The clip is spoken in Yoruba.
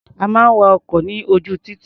A máa ń wa ọkọ̀ ní ojú títì.